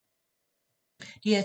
DR2